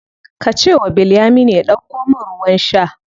Ka ce wa Bilyaminu ya ɗauko min ruwan sha.